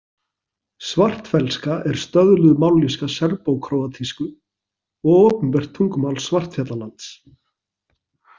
Svartfellska er stöðluð mállýska serbó-króatísku og opinbert tungumál Svartfjallalands.